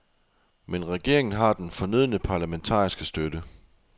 Men regeringen har den fornødne parlamentariske støtte.